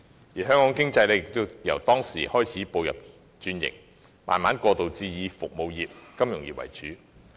自此，香港經濟開始轉型，逐步過渡至以服務業和金融業為主。